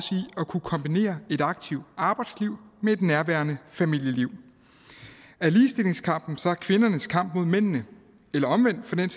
at kunne kombinere et aktivt arbejdsliv med et nærværende familieliv er ligestillingskampen så kvindernes kamp mod mændene eller omvendt for den